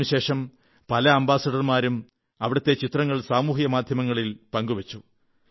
അതിനുശേഷം പല അംബാസഡർമാരും അവിടത്തെ ചിത്രങ്ങൾ സമൂഹമാധ്യമങ്ങളിൽ പങ്കുവച്ചു